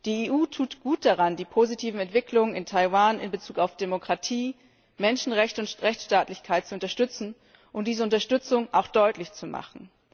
Die EU tut gut daran, die positiven Entwicklungen in Taiwan in Bezug auf Demokratie, Menschenrechte und Rechtsstaatlichkeit zu unterstützen und diese Unterstützung auch deutlich zu machen.